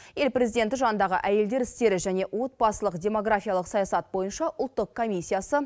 ел президенті жанындағы әйелдер істері және отбасылық демографиялық саясат бойынша ұлттық комиссиясы